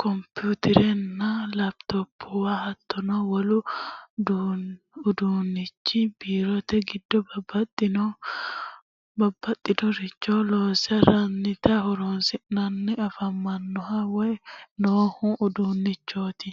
kompiterenna laptopuwa hattono wolu uduunnichi Biirote giddo babbaxinnoricho loosirate horonsi'nanna afamannoho woy noohu uduunnichoti.